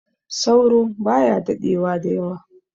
Sauro baya daɗewa da yawa